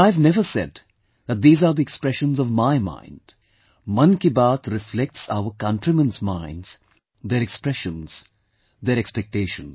And I have never said that these are the expressions of my mind; Mann Ki Baat reflects our countrymen's minds, their expressions, their expectations